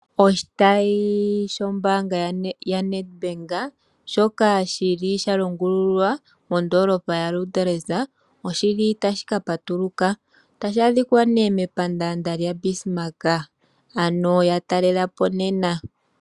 Oshitayi shombaanga yaNedbank shoka shili shalongululwa mondoolopa yaLuderitz oshili tashi kapatuluka. Otashi adhikwa ne mepandaanda lyaBismark ano yatalela po nena.